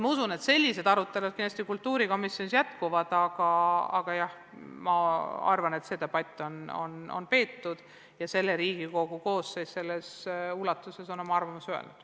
Ma usun, et need arutelud kultuurikomisjonis jätkuvad, aga ma arvan, et see debatt on peetud ja praegune Riigikogu koosseis on oma arvamuse öelnud.